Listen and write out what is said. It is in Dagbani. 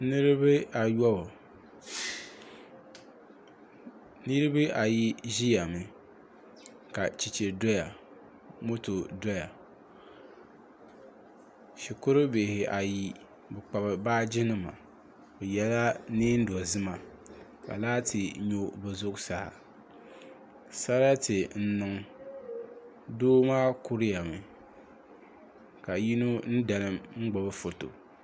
Niraba ayobu niraba ayi ʒimi ka chɛchɛ doya moto doya shikuru bihi ayi bi kpabi baaji nima bi yɛla neen dozima ka laati nyo bi zuɣusaa sarati n niŋ doo maa kurimi ka yino dalim n gbubi foto